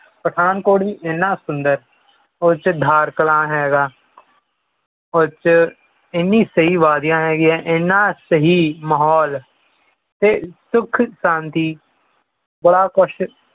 ਪਠਾਨਕੋਟ ਵੀ ਇਹਨਾਂ ਸੁੰਦਰ ਉਹਦੇ ਚ ਧਾਰ ਕਾਲਾ ਹੈਗਾ ਉਹਦੇ ਚ ਏਨੀਆਂ ਸਹੀ ਵਾਦੀਆਂ ਹਰੀਆਂ ਇਨ੍ਹਾਂ ਸਹੀ ਮਾਹੌਲ ਤੇ ਸੁਖ ਸ਼ਾਂਤੀ ਬੜਾ ਕੁਝ